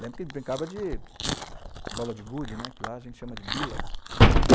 Lembro que ele brincava de bola de gude, né, que lá a gente chama de Bila.